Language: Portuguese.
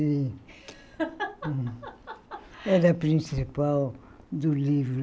era a principal do livro.